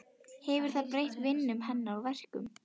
Hefur það breytt vinnu hennar og verkum?